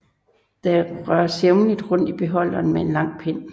Der røres jævnligt rundt i beholderen med en lang pind